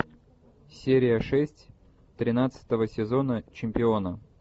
серия шесть тринадцатого сезона чемпиона